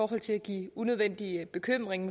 kan give unødvendige bekymringer